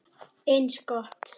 Eins gott.